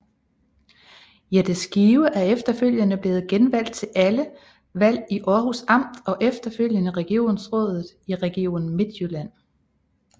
Jette Skive er efterfølgende blevet genvalgt til alle valg til Århus Amt og efterfølgende Regionsrådet i Region Midtjylland